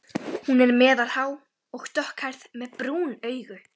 Hún er meðalhá og dökkhærð með brún augu.